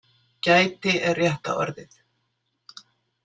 Gæti er rétta orðið.